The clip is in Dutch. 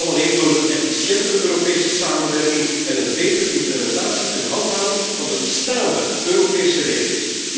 Dat kan alleen door een efficiëntere Europese samenwerking en een betere implementatie en handhaving van de bestaande Europese regels.